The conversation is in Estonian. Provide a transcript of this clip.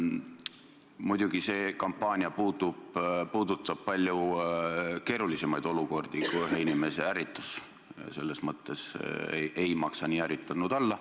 Muidugi see kampaania puudutab palju keerulisemaid olukordi kui ühe inimese ärritus, selles mõttes ei maksa nii ärritunud olla.